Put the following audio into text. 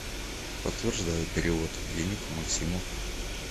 подтверждаю перевод денег максиму